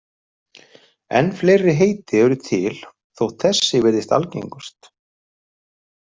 En fleiri heiti eru til þótt þessi virðist algengust.